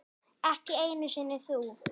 Ekki einu sinni þú.